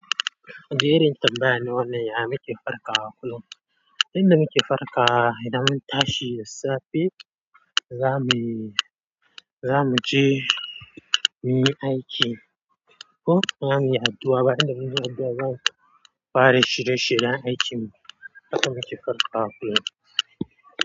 Gerin tambaya ne wannan ya muke farka kullum. Inda muke farka idan an tashi da safe, za mu, za mu je muyi aiki. Ko za mu yi addu'a, bayan da muke addu'a za mu fara shirye shiryen aikin mu. Haka muke farka kullum.